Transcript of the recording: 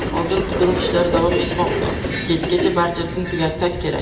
Hozir qidiruv ishlari davom etmoqda, kechgacha barchasini tugatsak kerak.